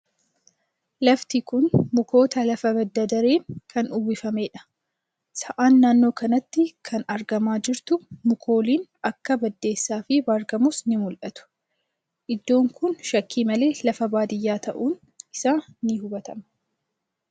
Lafti kun mukoota lafa badda-dareen kan uwwifamedha. Sa'aan naannoo kanatti kan argamaa jirtu, mukooliin akka baddeessaa fi baargamoos ni mul'atu. Iddoon kun shakkii malee lafa baadiyaa ta'uun isaa ni hubatama.